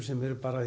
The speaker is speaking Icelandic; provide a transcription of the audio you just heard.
sem